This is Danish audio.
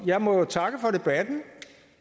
jeg må jo takke for debatten